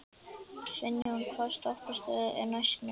Finnjón, hvaða stoppistöð er næst mér?